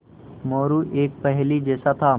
मोरू एक पहेली जैसा था